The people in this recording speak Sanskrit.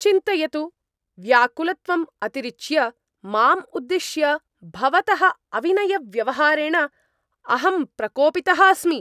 चिन्तयतु, व्याकुलत्वम् अतिरिच्य, माम् उद्दिश्य भवतः अविनयव्यवहारेण अहं प्रकोपितः अस्मि।